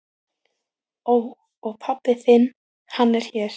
Ó. Og pabbi þinn, hann er hér?